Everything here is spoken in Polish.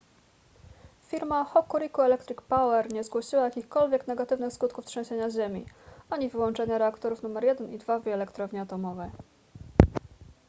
firma hokuriku electric power nie zgłosiła jakichkolwiek negatywnych skutków trzęsienia ziemi ani wyłączenia reaktorów nr 1 i 2 w jej elektrowni atomowej